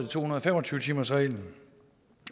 to hundrede og fem og tyve timersreglen